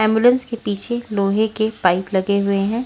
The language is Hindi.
एंबुलेंस के पीछे लोहे के पाइप लगे हुए हैं।